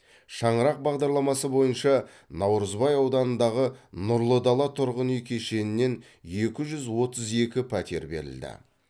шаңырақ бағдарламасы бойынша наурызбай ауданындағы нұрлы дала тұрғын үй кешенінен екі жүз отыз екі пәтер берілді